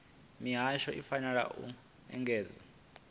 mihasho i fanela u engedzedza